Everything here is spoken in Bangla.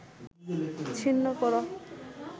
ছিন্ন কর